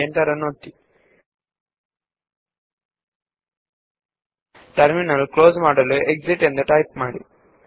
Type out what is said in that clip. terminal ನ್ನು close ಮಾಡಲು exit ಎಂದು ಟೈಪ್ ಮಾಡಿ